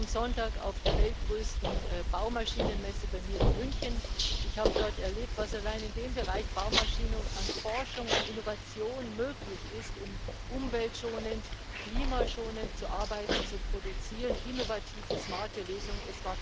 Ich war am Sonntag auf der weltgrößten Baumaschinenmesse bei mir in München und habe dort erlebt, was allein im Bereich Baumaschinen an Forschung und Innovation möglich ist, um umweltschonend, klimaschonend zu arbeiten, zu produzieren innovative, smarte Lösungen.